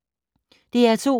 DR2